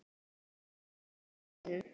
Nei, heillin mín.